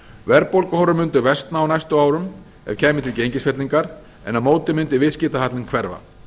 ójafnvægi verðbólguhorfur myndu versna á næstu árum ef kæmi til gengisfellingar en á móti myndi viðskiptahallinn hverfa